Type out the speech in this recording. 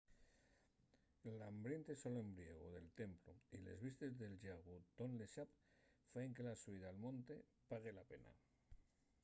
l'ambiente solombriegu del templu y les vistes del llagu tonle sap faen que la xubida al monte pague la pena